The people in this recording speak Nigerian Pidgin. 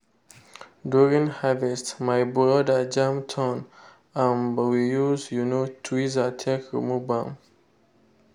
during harvest my brother jam thorn um we use um tweezer take remove am.